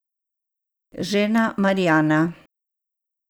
Žena Marjana.